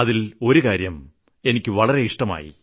അതിൽ ഒരു കാര്യം എനിക്ക് വളരെ ഇഷ്ടമായി